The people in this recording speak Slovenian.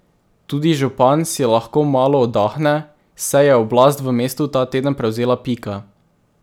Tudi župan si lahko malo oddahne, saj je oblast v mestu ta teden prevzela Pika.